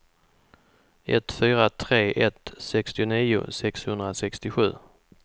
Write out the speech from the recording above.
ett fyra tre ett sextionio sexhundrasextiosju